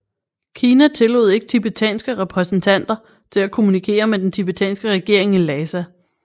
Kina tillod ikke tibetanske repræsentanter til at kommunikere med den tibetanske regering i Lhasa